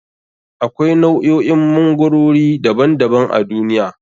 Akwai nau'o'in magwarori daban daban a duniya.